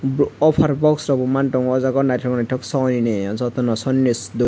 bo offer box rok bo mang tongo ojaga naitok naitok sony ni joto no sony ni